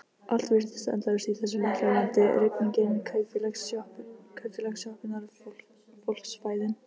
Allt virtist endalaust í þessu litla landi: rigningin, kaupfélagssjoppurnar, fólksfæðin.